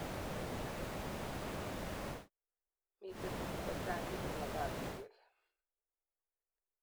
miteb tuguk chechang cheibu miandap iywek